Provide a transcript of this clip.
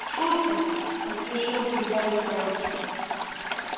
шутка поспешил прибавить рон